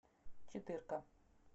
четырка